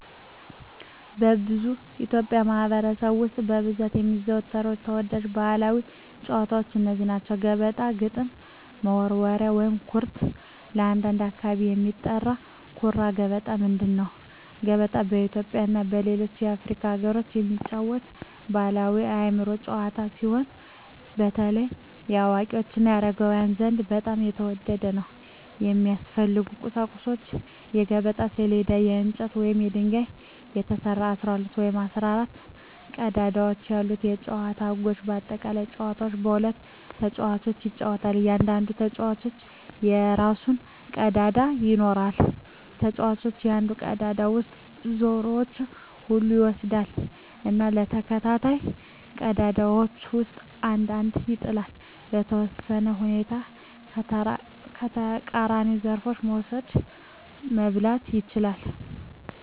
በብዙ የኢትዮጵያ ማኅበረሰቦች ውስጥ በብዛት የሚዘወተሩ ተወዳጅ ባሕላዊ ጨዋታዎች እነዚህ ናቸው፦ ገበጣ ግጥም መወርወሪያ / ኩርት (በአንዳንድ አካባቢ የሚጠራ) ኩራ ገበጣ ምንድን ነው? ገበጣ በኢትዮጵያ እና በሌሎች የአፍሪካ አገሮች የሚጫወት ባሕላዊ የአእምሮ ጨዋታ ሲሆን፣ በተለይ በአዋቂዎች እና በአረጋውያን ዘንድ በጣም የተወደደ ነው። የሚያስፈልጉ ቁሳቁሶች የገበጣ ሰሌዳ: ከእንጨት ወይም ከድንጋይ የተሰራ፣ 12 ወይም 14 ቀዳዳዎች ያሉት የጨዋታው ህጎች (በአጠቃላይ) ጨዋታው በሁለት ተጫዋቾች ይጫወታል። እያንዳንዱ ተጫዋች የራሱን ቀዳዳዎች ይኖራል። ተጫዋቹ ከአንድ ቀዳዳ ውስጥ ዘሮቹን ሁሉ ይወስዳል እና በተከታታይ ቀዳዳዎች ውስጥ አንድ አንድ ይጥላል። . በተወሰኑ ሁኔታዎች የተቃራኒውን ዘሮች መውሰድ (መብላት) ይችላል።